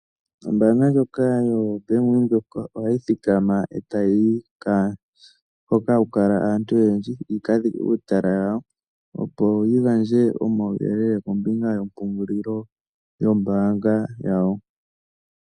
Ombaanga ndjoka yo Bank Windhoek ohayi thikama etayi yi hoka haku kala aantu oyendji yika dhike uutala wawo ,opo yi gandje omauyelele kombinga yompungulilo yombaanga yawo.